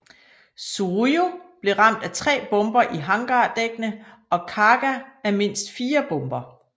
Soryu blev ramt af tre bomber i hangardækkene og Kaga af mindst fire bomber